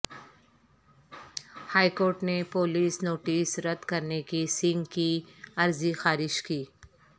high court نے police notice رد کرنے کی سنگھ کی عرضی خارج کی